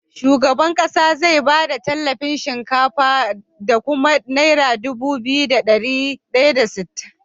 Shugaban ƙasa zai bada tallafin shinkafa da kuma naira Dubu biyu da dari daya da sittin